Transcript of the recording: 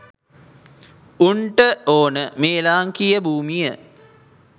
උන්ට ඕන මේ ලාංකිය භූමිය